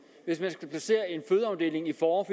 hvis man skal placere en fødeafdeling i fåre